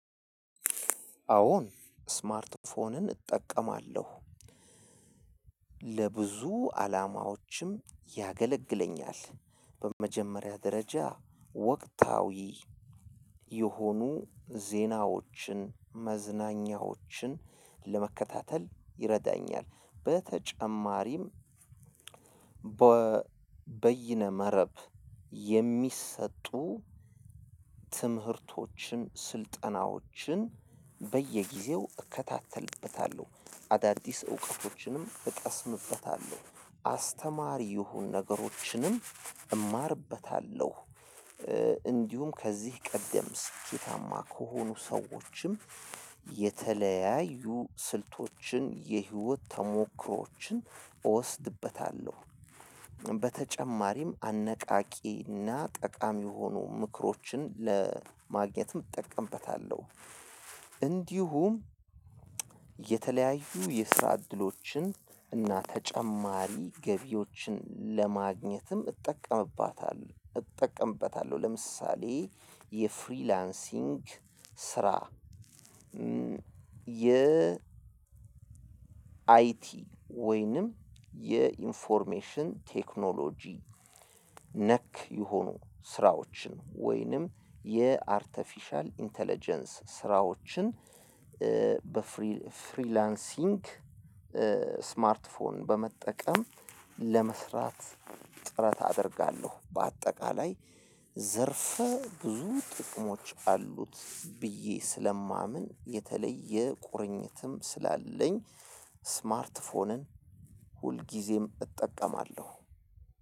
አወን ስማርት ፎንን እጠቀማለሁ። ለብዙ አላማዎችም ያገለግለኛል በመጀመሪያ ደረጃ ወቅታዊ የሆኑ ዜናዎችን መዝናኛዎችን ለመከታተል ይረዳኛል። በተጨማሪም በይነ መረብ የሚሰጡ ትምህርቶችን ስልጠናዎችን በየጊዜው እከታተልበታለሁ አዳዲስ እውቀቶችንም እቀስምበታለሁ አስተማሪ ይሁን ነገሮችንም እማርበታለሁ። እንዲሁም ከዚህ ቀደም ስኬታማ ከሆኑ ሰዎችም የተለያዩ ስልቶችን የህይወት ተሞክሮዎችን እወስድበታለሁ። በተጨማሪም አነቃቂና እና ጠቃሚ የሆኑ ምክሮችን ለማግኘትም እጠቀምበታለሁ። እንዲሁም የተለያዩ የስራ እድሎችን እና ተጨማሪ ገቢዎችን ለማግኘትም እጠቀምባታለሁ እጠቀምበታለሁ። ለምሳሌ የፍሪላንሲንግ ስራ የ አይቲ ወይንም የኢንፎርሜሽን ቴክኖሎጂ ነክ የሆኑ ስራዎችን ወይንም የአርቴፊሻል ኢንተለጀንስ ስራዎችን በፍሪላንሲንግ ስማርት ፎን በመጠቀም ለመስራት ጥረት አደርጋለሁ። በአጠቃላይ ዘርፈ ብዙ ጥቅሞች አሉት ብዬ ስለማምን የተለየ ቁርኝትም ስላለኝ ስማርት ፎንን ሁልጊዜም እጠቀማለሁ።